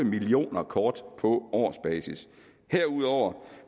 millioner kort på årsbasis herudover